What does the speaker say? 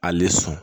Ale sɔn